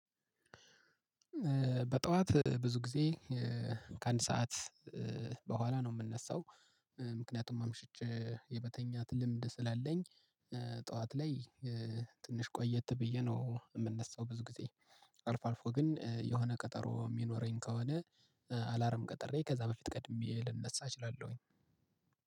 በጠዋት ብዙ ጊዜ ከአንድ ሰዓት በኋላ ነው የምነሳው። ምክንያቱም አምሽቸ የመተኛት ልምድ ስላለኝ። ጠዋት ላይ ትንሽ ቆየት ብዬ ነው የምነሳው። ብዙ ጊዜ አልፎ አልፎ ግን የሆነ ቀጠሮ የሚኖረኝ ከሆነ አላርም ቀጥረ ከዛ በፊት ቀድሜ ልንነሳ እችላለሁኝ።